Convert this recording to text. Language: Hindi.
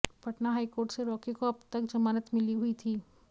पटना हाईकोर्ट से रॉकी को अब तक जमानत मिली हुई थी